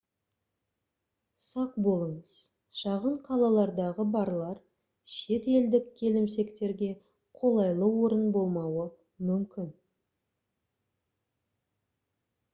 сақ болыңыз шағын қалалардағы барлар шет елдік келімсектерге қолайлы орын болмауы мүмкін